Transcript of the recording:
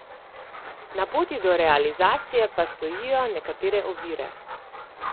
Na poti do realizacije pa stojijo nekatere ovire.